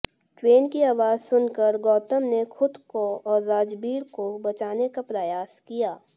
train की आवाज सुनकर गौतम ने खुद को और राजबीर को बचाने का प्रयास किया